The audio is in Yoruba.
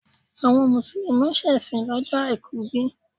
Àwọn Mùsùlùmí ń ṣèsìn lọ́jọ́ Àìkú bí?